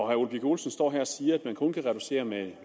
herre ole birk olesen står her og siger at man kun kan reducere med